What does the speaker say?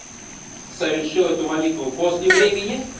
совершил эту молитву после времени